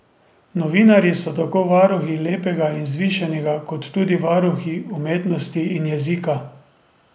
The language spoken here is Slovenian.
Novinarji so tako varuhi lepega in vzvišenega kot tudi varuhi umetnosti in jezika.